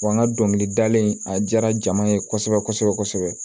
Wa n ka dɔnkilidalen a diyara jama ye kosɛbɛ kosɛbɛ kosɛbɛ